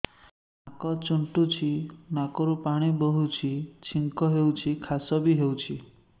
ନାକ ଚୁଣ୍ଟୁଚି ନାକରୁ ପାଣି ବହୁଛି ଛିଙ୍କ ହଉଚି ଖାସ ବି ହଉଚି